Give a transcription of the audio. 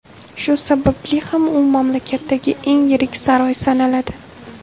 Shu sababli ham u mamlakatdagi eng yirik saroy sanaladi.